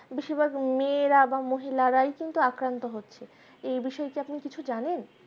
বেশিরভাগ মেয়েরা কিন্তু বা মহিলারাই কিন্তু আক্রান্ত হচ্ছে। এই বিষয়ে আপনি কিছু জানেন